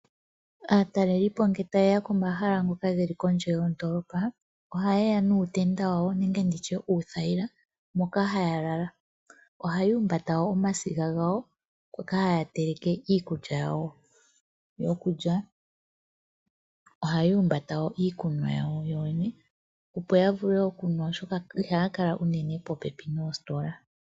Aatalelipo ngele ta yeya komahala ngoka geli kondje yondoolopa oha yeya nuutenda wawo nenge uuthayila moka ha ya lala . Oha ya humbata woo omasiga gawo moka ha ya teleke iikulya yawo yokulya . Ohaya humbata woo iikunwa yawo yo yene opo yavule okunwa oshoka iha ya kala unene popepi noositola.